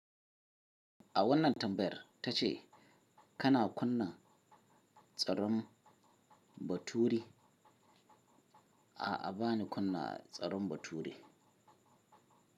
A wannan tambayar ta ce kana kunna tsaron baturi? A'a, bani kunna tsaron baturi.